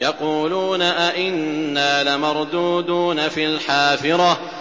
يَقُولُونَ أَإِنَّا لَمَرْدُودُونَ فِي الْحَافِرَةِ